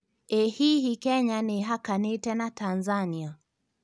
ĩ hihi Kenya nĩhakanĩte na Tanzania